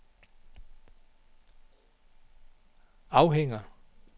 afhænger